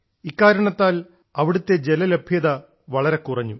ഇക്കാരണത്താൽ അവിടത്തെ ജലലഭ്യത വളരെ കുറഞ്ഞു